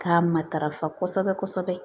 K'a matarafa kosɛbɛ kosɛbɛ